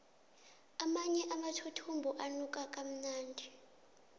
amanye amathuthumbo anuka kamnandi